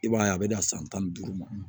I b'a ye a bɛ na san tan ni duuru ma